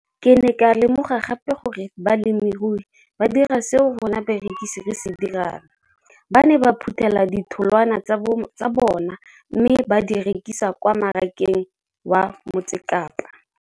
Ke ne ka lemoga gape gore balemirui ba dira seo rona barekisi re se dirang - ba ne ba phuthela ditholwana tsa bona mme ba di rekisa kwa marakeng wa Motsekapa.